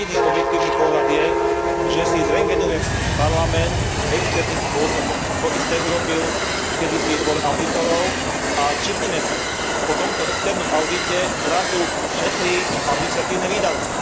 A jediný objektívny pohľad je, že si zröntgenujem Parlament externým spôsobom. To isté urobil kedysi Dvor audítorov a všimnime si, po tomto externom audite zrazu šetrí administratívne výdavky.